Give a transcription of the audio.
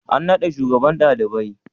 An naɗa shugaban ɗalibai?